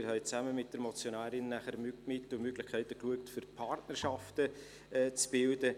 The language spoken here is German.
Wir haben nachher zusammen mit der Motionärin Mittel und Möglichkeiten angeschaut, um Partnerschaften zu bilden.